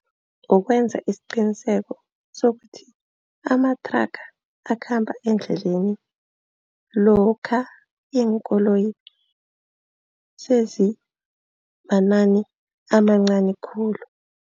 Ukwenza isiqiniseko sokuthi amathraga akhamba endleleni lokha iinkoloyi sezimanani amancani khulu.